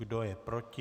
Kdo je proti?